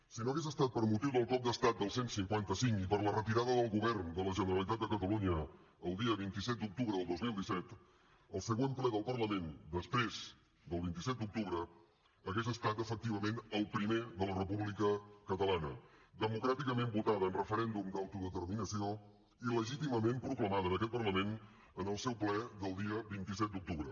si no hagués estat per motiu del cop d’estat del cent i cinquanta cinc i per la retirada del govern de la generalitat de catalunya el dia vint set d’octubre del dos mil disset el següent ple del parlament després del vint set d’octubre hagués estat efectivament el primer de la república catalana democràticament votada en referèndum d’autodeterminació i legítimament proclamada en aquest parlament en el seu ple del dia vint set d’octubre